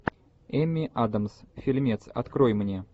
эми адамс фильмец открой мне